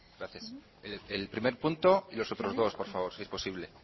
gracias el primer punto y los otros dos por favor si es posible